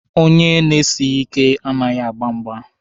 Onye na-esighi ike anaghị agba mgba.